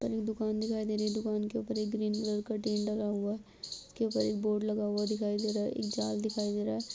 दुकान दिखाई दे रही है। दुकान के ऊपर एक ग्रीन कलर टीन लगा हुआ उसके ऊपर एक बोर्ड लगा हुआ दिखाई दे रहा हैं | एक जाल दिखाई दे रहा है।